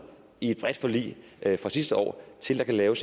i et bredt forlig fra sidste år til at lave